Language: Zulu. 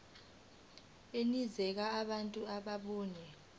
enikeza abantu ababuya